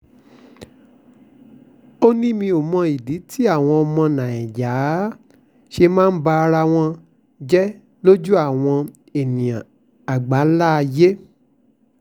ó ní mi ò mọ̀dí táwọn ọmọ nàìjíríà ṣe máa ń ba ara wọn jẹ́ lójú àwọn èèyàn àgbáńlá ayé